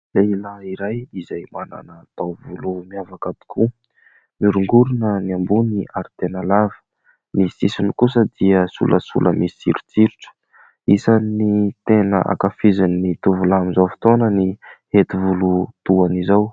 Lehilahy iray izay manana taovolo miavaka tokoa, mioringorina ny ambony ary tena lava, ny sisiny kosa dia solasola misy sirotsirotra, isany tena ankafizin'ny tovolahy amin'izao fotoana ny hety volo toa an'izao.